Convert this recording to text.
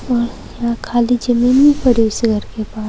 खाली जमीन पड़ी है उस घर के बाहर।